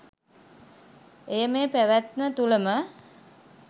එය මේ පැවැත්ම තුළ ම,